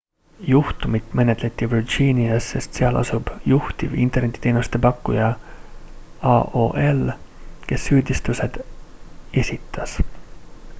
juhtumit menetleti virginias sest seal asub juhtiv internetiteenuse pakkuja aol kes süüditused esitas